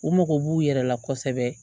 U mago b'u yɛrɛ la kosɛbɛ